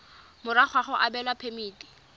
morago ga go abelwa phemiti